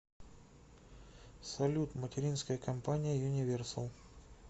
салют материнская компания юниверсал